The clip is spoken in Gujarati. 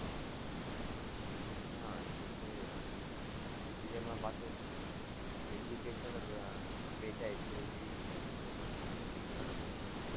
હા, એ તો છે, india માં પાછું, education જ વહેંચાય છે, એવું કહીયે તો પણ ચાલે, શિક્ષણ જ વહેંચાય છે.